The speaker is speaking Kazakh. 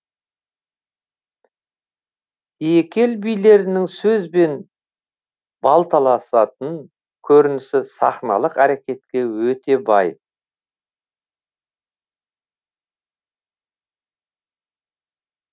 екі ел билерінің сөзбен балталасатын көрінісі сахналық әрекетке өте бай